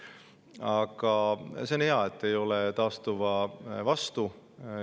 Aga see on hea, et te ei ole taastuva vastu.